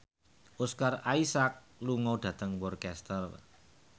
Oscar Isaac lunga dhateng Worcester